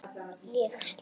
Ég slepp.